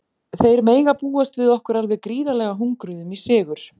Þeir mega búast við okkur alveg gríðarlega hungruðum í sigur.